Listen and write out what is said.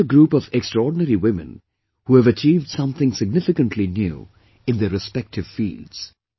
He met a group of extraordinary women who have achieved something significanty new in their respective fields